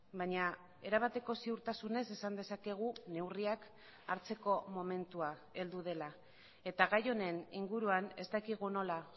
baina erabateko ziurtasunez esan dezakegu neurriak hartzeko momentua heldu dela eta gai honen inguruan ez dakigu nola